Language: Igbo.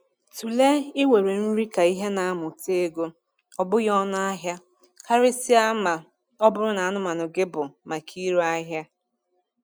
Tụlee iwere nri ka ihe na-amụta ego, ọ bụghị ọnụ ahịa, karịsịa ma ọ bụrụ na anụmanụ gị bụ maka ire ahịa.